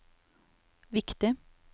viktig